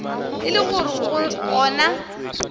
e le gore go na